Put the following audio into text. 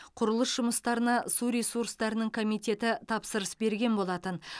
құрылыс жұмыстарына су ресурстарының комитеті тапсырыс берген болатын